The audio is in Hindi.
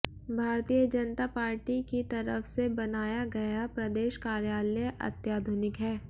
भारतीय जनता पार्टी की तरफ से बनाया गया प्रदेश कार्यालय अत्याधुनिक है